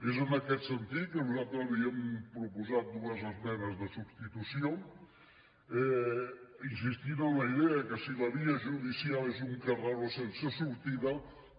és en aquest sentit que nosaltres li hem proposat dues esmenes de substitució insistint en la idea de que si la via judicial és un carreró sense sortida